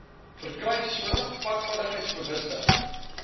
verkry sodat padveiligheidsbewustheid